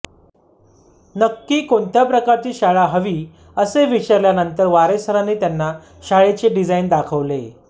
नक्की कोणत्या प्रकारची शाळा हवी असे विचारल्यानंतर वारे सरांनी त्यांना शाळेचे डिझाइन दाखवले